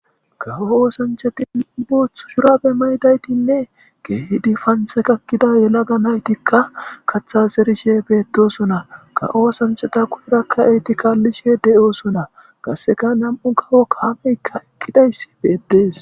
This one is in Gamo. ka oosanchatin booththu shurabe maydaytinne geehidi panthe kakkida yelaga naytikka kathas erishe beettosona ka oosanchata kushurakka eyti kaallishe de7oosona qasseka nam7u kawo kaameykka eqqidayssi beetdees